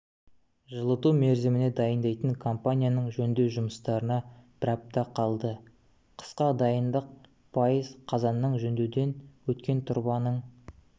жылыту мерзіміне дайындайтын компанияның жөндеу жұмыстарына бір апта қалды қысқа дайындық пайыз қазанның жөндеуден өткен тұрбаның